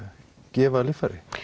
gefa líffæri